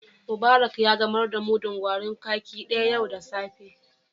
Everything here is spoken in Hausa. Mubarak ya gamar da mudun garin kwaki daya yau da safe.